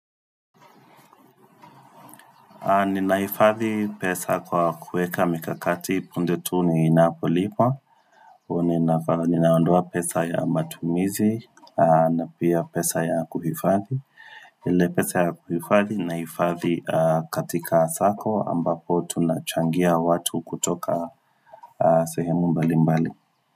Ninahifadhi pesa kwa kuweka mikakati punde tu ni napolipwa Ninaondoa pesa ya matumizi na pia pesa ya kuhifadhi ile pesa ya kuhifadhi naifadhi katika sako ambapo tunachangia watu kutoka sehemu mbali mbali.